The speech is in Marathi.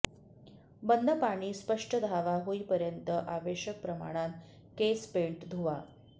बंद पाणी स्पष्ट धावा होईपर्यंत आवश्यक प्रमाणात केस पेंट धुवा